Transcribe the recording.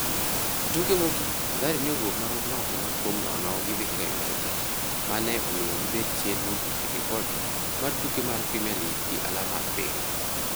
E tuke mogik, Mathare ne owuok marom nono kuom nono gi Vihiga United, ma ne omiyo gibed chien mogik e ripot mar tuke mar Premier League gi alama abiriyo.